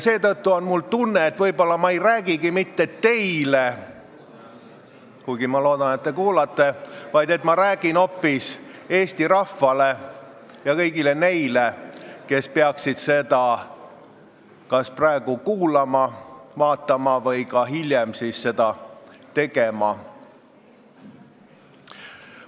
Seetõttu on mul tunne, et võib-olla ma ei räägigi mitte teile – kuigi ma loodan, et te kuulate –, vaid ma räägin hoopis Eesti rahvale ja kõigile neile, kes peaksid seda istungit praegu kas kuulama või vaatama või seda hiljem tegema.